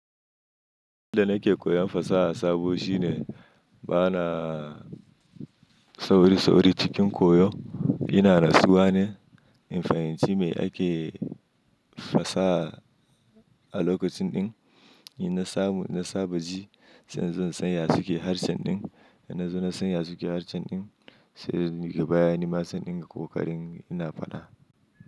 Abin da nake koyon fasaha sabo shine bana sauri-sauri cikin koyo. Ina rasuwa ne. In fahinci mai ake fasaha a lokacin din, ina saba ji sai zan tsaya cikin harshen din. In nazo na tsaya cikin harshen din sai ga bayanin matsan din da ƙoƙarin ina faɗa.